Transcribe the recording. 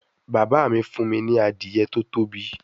Baba mi fun mi ni Adiye to tobi